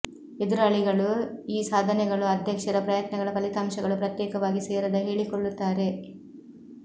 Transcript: ಎದುರಾಳಿಗಳು ಈ ಸಾಧನೆಗಳು ಅಧ್ಯಕ್ಷರ ಪ್ರಯತ್ನಗಳ ಫಲಿತಾಂಶಗಳು ಪ್ರತ್ಯೇಕವಾಗಿ ಸೇರದ ಹೇಳಿಕೊಳ್ಳುತ್ತಾರೆ